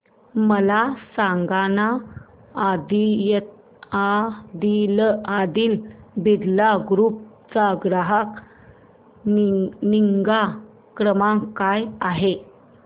मला सांगाना आदित्य बिर्ला ग्रुप चा ग्राहक निगा क्रमांक काय आहे